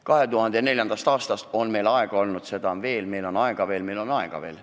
2004. aastast on meil aega olnud ja seda on veel – meil on aega veel, meil on aega veel.